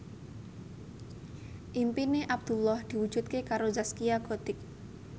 impine Abdullah diwujudke karo Zaskia Gotik